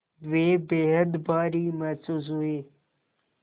वे बेहद भारी महसूस हुए